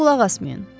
Ona qulaq asmayın.